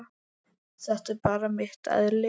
Þetta er bara mitt eðli.